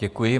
Děkuji.